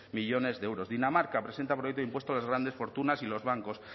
millónes de euros dinamarca presenta proyecto de impuesto a las grandes fortunas y los bancos